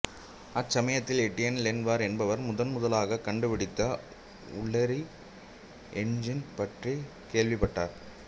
அச்சமயத்தில் Etienne Lenoir என்பவர் முதன்முதலாகக் கண்டுபிடித்த உள்ளெரி என்ஜின் பற்றிக் கேள்விப்பட்டார்